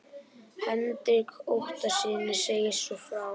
Hendrik Ottóssyni segist svo frá